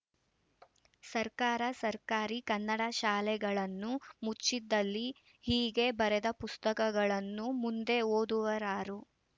ಸರ್ಕಾರ ಸರ್ಕಾರಿ ಕನ್ನಡ ಶಾಲೆಗಳನ್ನು ಮುಚ್ಚಿದಲ್ಲಿ ಹೀಗೆ ಬರೆದ ಪುಸ್ತಕಗಳನ್ನು ಮುಂದೆ ಓದುವರಾರು